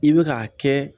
I bɛ k'a kɛ